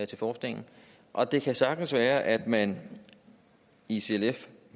til forskningen og det kan sagtens være at man i clf